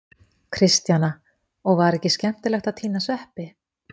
Kristjana: Og var ekki skemmtilegt að tína sveppi?